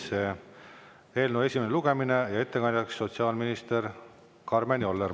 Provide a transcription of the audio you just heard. See on eelnõu esimene lugemine ja ettekandjaks on sotsiaalminister Karmen Joller.